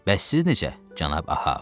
Bəs siz necə, cənab Ahəv?